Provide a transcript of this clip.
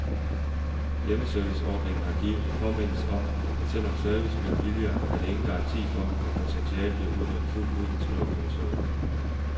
Hjemmeserviceordningen har givet en påmindelse om, at selv om service bliver billigere, er det ingen garanti for, at potentialet bliver udnyttet fuldt ud, skriver kommissionen.